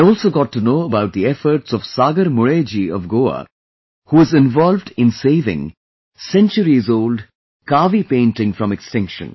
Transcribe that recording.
I also got to know about the efforts of Sagar Mule ji of Goa, who is involved in saving centuries old 'Kaavi' painting from extinction